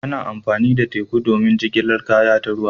Ana amfani da teku don jigilar kaya ta ruwa.